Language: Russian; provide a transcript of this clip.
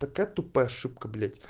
такая тупая ошибка блять